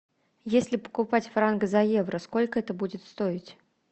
если покупать франк за евро сколько это будет стоить